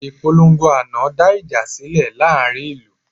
Ìpolongo àná dá ìjà sílẹ̀ láàrin ìlú